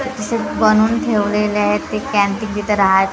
soup बनवून ठेवलेले आहेत ते कॅन्टीन तिथे--